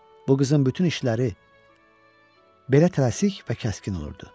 Bu qızın bütün işləri belə tələsik və kəskin olurdu.